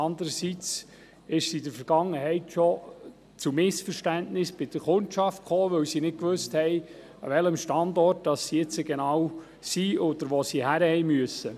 Andererseits kam es in der Vergangenheit zu Missverständnissen bei der Kundschaft, weil sie nicht genau wusste, wo sie sich befindet, oder wo sie nun genau hingehen muss.